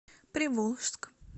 приволжск